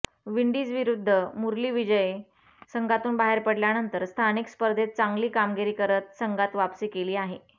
विंडीजविरुद्ध मुरली विजय संघातून बाहेर पडल्यानंतर स्थानिक स्पर्धेत चांगली कामगिरी करत संघात वापसी केली आहे